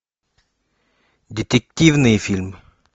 детективный фильм